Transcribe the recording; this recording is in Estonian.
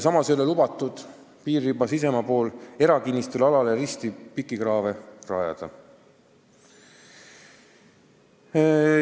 Samas ei ole lubatud piiririba sisemaa pool erakinnistu alale risti pikikraave rajada.